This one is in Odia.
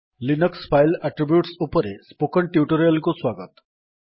ଲିନକ୍ସ୍ ଫାଇଲ୍ ଆଟ୍ରିବ୍ୟୁଟ୍ ଉପରେ ସ୍ପୋକେନ୍ ଟ୍ୟୁଟୋରିଆଲ୍ କୁ ସ୍ୱାଗତ